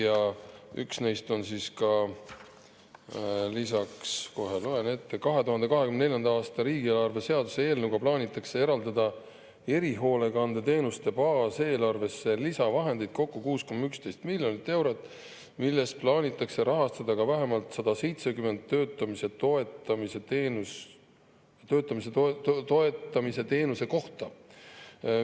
Ja üks neist on ka lisaks, kohe loen ette: 2024. aasta riigieelarve seaduse eelnõu kohaselt plaanitakse eraldada erihoolekandeteenuste baaseelarvesse lisavahendeid kokku 6,11 miljonit eurot, millest plaanitakse rahastada ka vähemalt 170 töötamise toetamise teenuse kohta.